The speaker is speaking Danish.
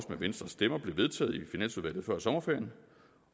med venstre stemmer blev vedtaget i finansudvalget før sommerferien